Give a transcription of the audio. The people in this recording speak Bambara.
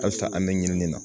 Halisa an bɛ ɲinini na